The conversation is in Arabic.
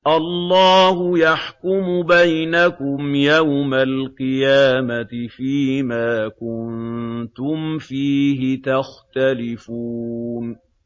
اللَّهُ يَحْكُمُ بَيْنَكُمْ يَوْمَ الْقِيَامَةِ فِيمَا كُنتُمْ فِيهِ تَخْتَلِفُونَ